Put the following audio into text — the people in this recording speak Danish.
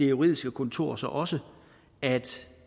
juridiske kontor så også at